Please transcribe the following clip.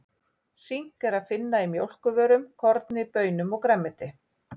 Sink er að finna í mjólkurvörum, korni, baunum og grænmeti.